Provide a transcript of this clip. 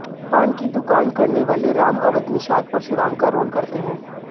पान की दुकान करने वाले राम अवध निषाद परशुराम का रोल करते हैं